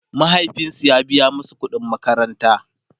mahaifinsu ya biya masu ƙuɗin makaranta